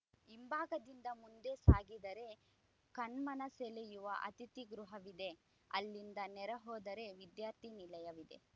ಹಿಂಭಾಗದಿಂದ ಮುಂದೆ ಸಾಗಿದರೆ ಕಣ್ಮನ ಸೆಳೆಯುವ ಅತಿಥಿ ಗೃಹವಿದೆ ಅಲ್ಲಿಂದ ನೇರ ಹೋದರೆ ವಿದ್ಯಾರ್ಥಿ ನಿಲಯವಿದೆ